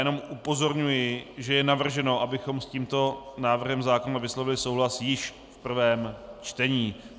Jenom upozorňuji, že je navrženo, abychom s tímto návrhem zákona vyslovili souhlas již v prvém čtení.